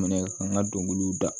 minɛ ka n ka dɔnkiliw da